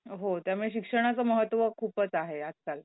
हो त्यामुळे शिक्षणाचं महत्व खूपच आहे आजकाल.